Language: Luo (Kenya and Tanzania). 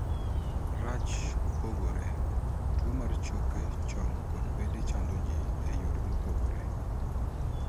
Rachge pogore. Tuo mar choke chong kod bede chando jii e yore mopogore.